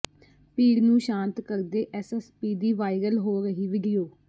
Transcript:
ਭੀੜ ਨੂੰ ਸਾਂਤ ਕਰਦੇ ਐਸਐਸਪੀ ਦੀ ਵਾਇਰਲ ਹੋ ਰਹੀ ਵੀਡੀਓ